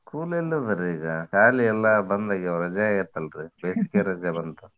School ಎಲ್ಲಿ ಅದವ್ರೀಗ? ಸಾಲಿ ಎಲ್ಲಾ ಬಂದ್ ಆಗ್ಯಾವ ರಜಾ ಆಗೇತ್ ಅಲ್ರೀ ಬೇಸಿಗೆರಜಾ ಬಂತಾ.